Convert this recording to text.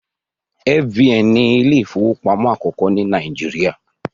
F.B.N ni Ilé ìfowópamọ́ akoko ní Nàìjíríà